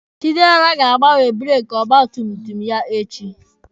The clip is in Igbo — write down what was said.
Chidera ga-agbanwe breeki ọgba tum tum ya echi.